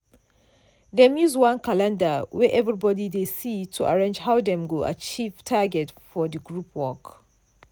dem use one calendar wey everybody dey see to arrange how dem go achieve target for the group work.